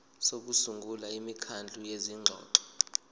sokusungula imikhandlu yezingxoxo